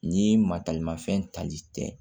Ni matalimafɛn tali tɛ